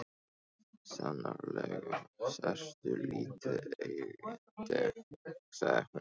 Sannarlega ertu lítið augnayndi sagði hún.